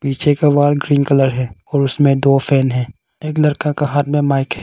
पीछे का wall green colour है और उसमें दो फैन हैं एक लड़का का हाथ में माइक है।